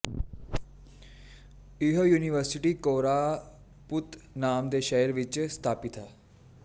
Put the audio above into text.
ਇਹ ਯੂਨੀਵਰਸਿਟੀ ਕੋਰਾਪੁਤ ਨਾਮ ਦੇ ਸ਼ਹਿਰ ਵਿੱਚ ਸਥਾਪਿਤ ਹੈ